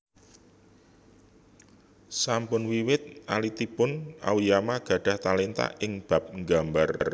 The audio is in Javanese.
Sampun wiwit alitipun Aoyama gadhah talenta ing bab nggambar